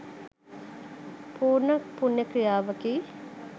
පූර්ණ පුණ්‍ය ක්‍රියාවකි.